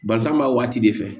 Balila b'a waati de fɛ